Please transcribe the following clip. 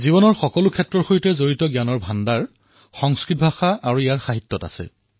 জীৱনৰ প্ৰতিটো ক্ষেত্ৰৰ সৈতে জড়িত জ্ঞানৰ ভাণ্ডাৰ সংস্কৃত ভাষা আৰু ইয়াৰ সাহিত্যত আছে